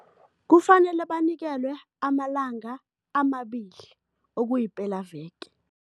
Kufanele banikelwe amalanga amabili, okuyipelaveke.